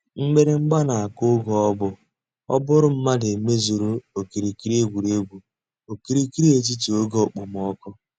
Mgbìrị̀gba nà-àkụ̀ ògè ọ̀ bú ọ́ bụ̀rù mmàdụ̀ mèzùrù òkìrìkìrì ègwè́ré́gwụ̀ òkìrìkìrì ètítì ògè òkpòmọ́kụ̀.